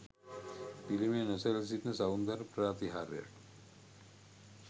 පිළිමය නොසැලී සිටින සෞන්දර්ය ප්‍රාතිහාර්යක්.